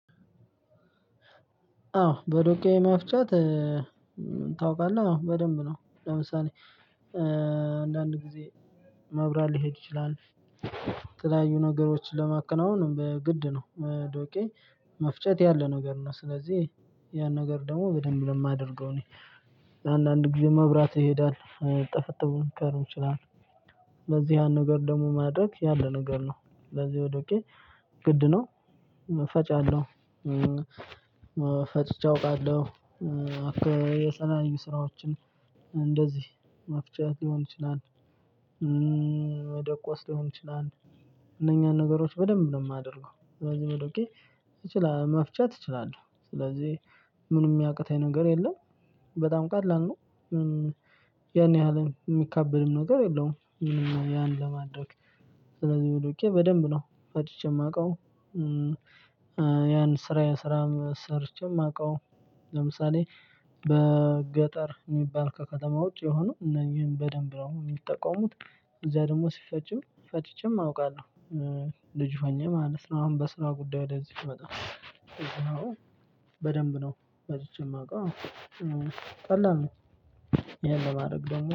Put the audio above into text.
አዎ በዶቄ መፍጨት ታውቃለህ? አዎ በደንብ ነው ለምሳሌ እ አንዳንድ ጊዜ መብራት ሊሄድ ይችላል። የተለያዩ ነገሮችን ለማከናወን በግድ ነው ዶቄ መፍጨት ያለ ነገር ነው። ስለዚህ ያን ነገር ደግሞ በደንብ ለማደርገው እኔ ለአንዳንድ ጊዜ መብራት ይሄዳል ጠፈጠፉን ሊቀር ይችላል። በዚህ ያን ነገር ማድረግ ያለ ነገር ነው ለዚህ ዶቄ ግድ ነው። ፈጫለሁ እ ፈጭቼ አውቃለሁ። እ የተለያዩ ስራዎችን እንደዚህ መፍጨት ሊሆን ይችላል እ መደቆስ ሊሆን ይችላል። እነኛን ነገሮች በደንብ ነው የማደርገው ስለዚህ በዶቄ እች መፍጨት እችላለሁ። ስለዚህ ምኑም ሚያቅተኝ ነገር የለም። በጣም ቀላል ነው። እ ያን ያህል ሚካበድም ነገር የለውም ምንም ያን ለማድረግ። ስለዚህ በዶቄ ፈጭቼ ማውቀው እ ያን ስራዬን ሰርቼ ማውቀው። ለምሳሌ በገጠር የሚባል ከከተማ ውጪ የሆኑ እነዚህን በደንብ ነው የሚጠቀሙት። እዛ ደግሞ ሲፈጭም ፈጭቼም አውቃለሁ። እ ልጅ ሆኜ ማለት ነው አሁን በስራ ጉዳይ ወደዚህ ስመጣ እዛ በደንብ ነው ፈጭቼ የማውቀው። ቀላል ይሄን ለማድረግ ደግሞ